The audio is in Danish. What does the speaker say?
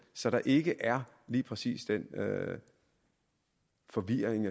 så der ikke er lige præcis den forvirring